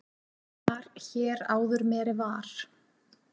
Mar hér áður meri var.